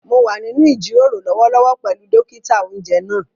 Mo wà nínú ìjíròrò lọ́wọ́lọ́wọ́ pẹ̀lú dókítà-oúnjẹ náà